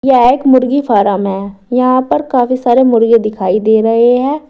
यह एक मुर्गी फॉर्म है यहां पर काफी सारे मुर्गे दिखाई दे रहे हैं।